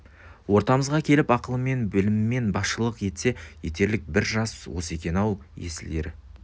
ортамызға келіп ақылымен білімімен басшылық етсе етерлік бір жас осы екен-ау есіл ер